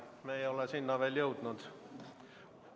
Me ei ole sinna veel jõudnud.